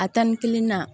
A tan ni kelen na